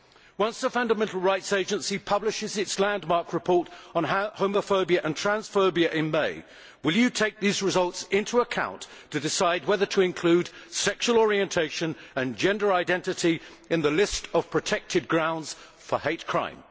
Once the Fundamental Rights Agency publishes its landmark report on homophobia and transphobia in May, will you take these results into account in deciding whether to include sexual orientation and gender identity in the list of protected grounds for hate crime?